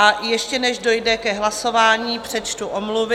A ještě než dojde ke hlasování, přečtu omluvy.